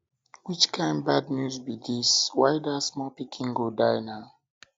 which kin bad news be dis why dat small pikin go die now